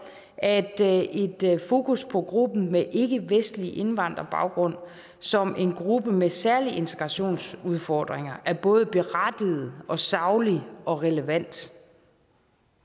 at et fokus på gruppen med ikkevestlig indvandrerbaggrund som en gruppe med særlige integrationsudfordringer er både berettiget og saglig og relevant